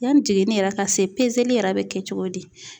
Yanni jiginni yɛrɛ ka se pezeli yɛrɛ be kɛ cogo di